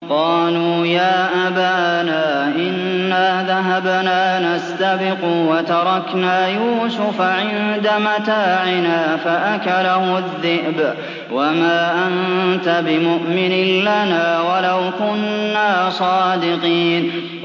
قَالُوا يَا أَبَانَا إِنَّا ذَهَبْنَا نَسْتَبِقُ وَتَرَكْنَا يُوسُفَ عِندَ مَتَاعِنَا فَأَكَلَهُ الذِّئْبُ ۖ وَمَا أَنتَ بِمُؤْمِنٍ لَّنَا وَلَوْ كُنَّا صَادِقِينَ